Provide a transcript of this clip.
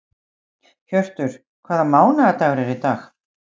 Hjörtur, hvaða mánaðardagur er í dag?